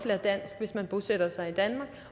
lærer dansk hvis man bosætter sig i danmark